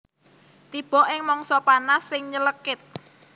Wulan ka sanga tansah tiba ing mangsa panas sing nylekit